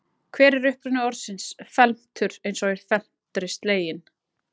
hver er uppruni orðsins felmtur eins og í „felmtri sleginn“